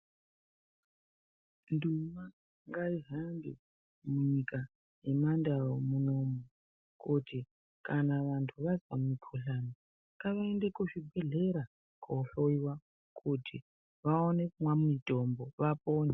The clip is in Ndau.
Nduma ngaigambe munyika yeandau kuti kana munhu akazwa nukhuhlane .Ngaende kuzvibhehlera kohloyewa aone kumwa mitombo apone